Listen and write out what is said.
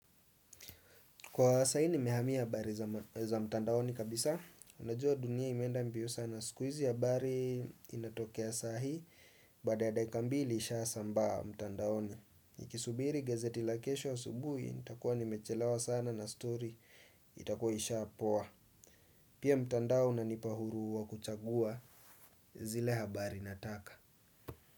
Kwa sahii nimehamia habari za mtandaoni kabisa unajua dunia imeenda mbio sana. Siku hizi habari inatokea sahii baada ya dakika mbili isha sambaa mtandaoni. Nikisubiri gazeti la kesho asubuhi nitakuwa nimechelewa sana na story itakuwa isha poa. Pia mtandao unanipa uhuru wa kuchagua zile habari nataka.